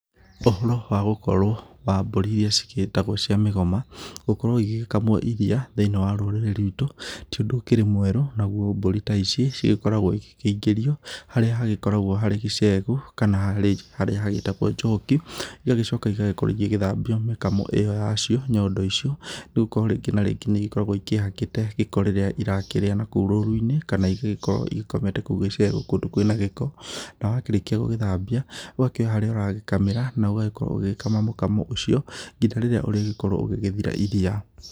Ũhoro wa gũkorwo wa mbũri irĩa ci gĩtagwo cia mĩgoma, gũkorwo igĩgĩkamwo iriia thĩinĩ wa rũrĩrĩ rwĩtũ ti ũndũ ũkĩrĩ mwerũ. Naguo mbũri ta ici cigĩkoragwo igĩkĩingĩrio harĩa hagĩkoragwo harĩ gĩcegũ, kana harĩa hagĩtagwo njoku, igagĩcoka igagĩkorwo igĩgĩthambio mĩkamo ĩyo yacio, nyondo icio nĩ gũkorwo rĩngĩ na rĩngĩ nĩ ikoragwo ikĩhakĩte gĩkoo rĩrĩa irakĩrĩa nakũu rũruinĩ, kana igagĩkorwo igĩkomete kũu gĩcegũ kũndũ kwĩna gĩkoo. Na wakĩrĩkia gũgĩthambia, ũgakĩoya harĩa ũragĩkamĩra, na ũgagĩkorwo ũgĩgĩkama mũkamo ũcio nginya rĩrĩa ũrĩgĩkorwo ũgĩgĩthira iriia.